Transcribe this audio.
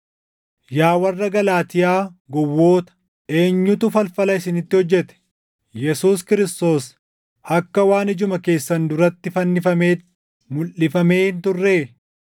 Yaa warra Galaatiyaa gowwoota! Eenyutu falfala isinitti hojjete? Yesuus Kiristoos akka waan ijuma keessan duratti fannifameetti mulʼifamee hin turree?